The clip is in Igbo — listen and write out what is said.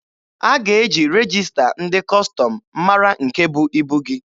A ga-eji regista ndị Kọstọm mara nke bụ ibu gị.